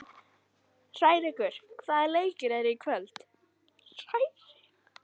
Hrærekur, hvaða leikir eru í kvöld?